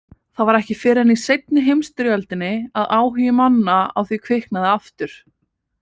Það var ekki fyrr en í seinni heimsstyrjöldinni að áhugi manna á því kviknaði aftur.